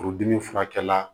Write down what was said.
Furudimi furakɛla